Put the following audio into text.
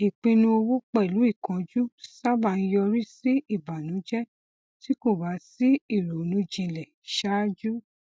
ìpinnu owó pẹlú ìkánjú sábà ń yọrí sí ìbànújẹ tí kò bá sí ìrònú jinlẹ ṣáájú